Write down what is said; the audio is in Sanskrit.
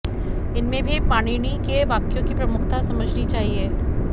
इनमें भी पाणिनि के वाक्यों की प्रमुखता समझनी चाहिए